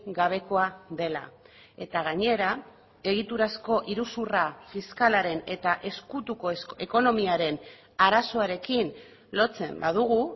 gabekoa dela eta gainera egiturazko iruzurra fiskalaren eta ezkutuko ekonomiaren arazoarekin lotzen badugu